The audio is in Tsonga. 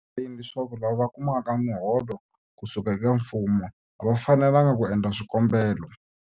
Swi tlhela swi va erivaleni leswaku lava kumaka miholo ku suka eka mfumo a va fanelanga ku endla swikombelo.